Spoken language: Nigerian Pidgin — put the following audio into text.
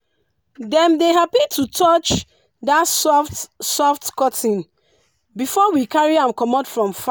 dem dey happy to touch that soft soft cotton before we carry am comot from farm.